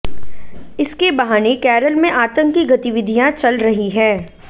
इसके बहाने केरल में आतंकी गतिविधियां चल रही हैं